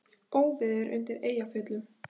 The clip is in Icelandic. Óveður undir Eyjafjöllum